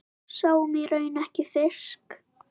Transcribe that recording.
Sáum í raun ekki fisk.